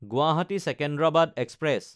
গুৱাহাটী–চিকিউণ্ডাৰাবাদ express